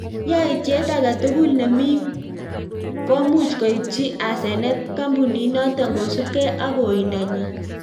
Yaityet agee tugul neming komuch koipchii asenet kampunit notok kosupkei ak oindoo nyiin